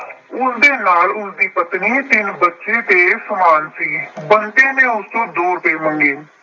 ਉਸਦੇ ਨਾਲ ਉਸਦੀ ਪਤਨੀ, ਤਿੰਨ ਬੱਚੇ ਤੇ ਸਮਾਨ ਸੀ। ਬੰਤੇ ਨੇ ਉਸ ਤੋਂ ਦੋ ਰੁਪਏ ਮੰਗੇ।